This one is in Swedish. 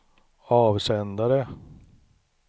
avsändare